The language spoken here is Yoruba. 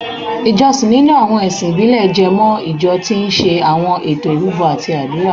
Ìjọsìn nínú àwọn ẹ̀sìn ìbílẹ̀ jẹ mọ́ ìjọ tí ń ṣe àwọn ètò ìrúbọ àti àdúrà